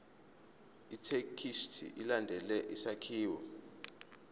ithekisthi ilandele isakhiwo